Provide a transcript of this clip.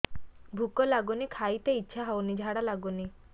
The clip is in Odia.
ଭୁକ ଲାଗୁନି ଖାଇତେ ଇଛା ହଉନି ଝାଡ଼ା ଲାଗୁନି